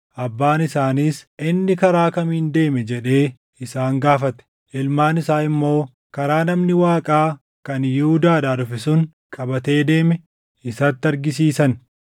Abbaan isaaniis, “Inni karaa kamiin deeme?” jedhee isaan gaafate. Ilmaan isaa immoo karaa namni Waaqaa kan Yihuudaadhaa dhufe sun qabatee deeme isatti argisiisan.